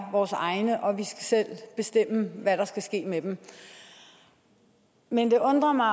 er vores egne og at vi selv skal hvad der skal ske med dem men jeg undrer mig